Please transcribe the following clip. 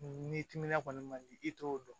Ni timinan kɔni man di i t'o dɔn